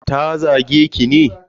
Ta zage ki ne?